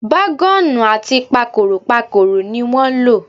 Bágọ́ọ̀nù àti pakòròpakòrò ni wọ́n lò.